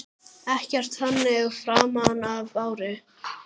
Ekkert þannig framan af ári.